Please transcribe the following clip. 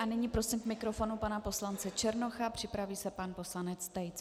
A nyní prosím k mikrofonu pana poslance Černocha, připraví se pan poslanec Tejc.